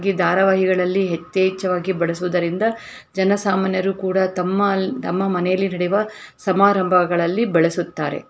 ಈ ದಾರವಾಹಿಗಳಲ್ಲಿ ಹೆಥೇಚ್ಛವಾಗಿ ಬಳಸುವುದರಿಂದ ಜನಸಾಮಾನ್ಯರು ಕೂಡ ತಮ್ಮ ತಮ್ಮಾ ಮನೆಯಲ್ಲಿ ನಡೆಯುವ ಸಮಾರಂಭಗಳಲ್ಲಿ ಬಳಸುತ್ತಾರೆ.